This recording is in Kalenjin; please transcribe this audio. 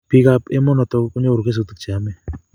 piik ab emonotok konyoru kesutik che yemei